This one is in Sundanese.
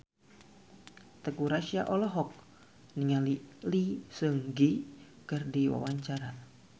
Teuku Rassya olohok ningali Lee Seung Gi keur diwawancara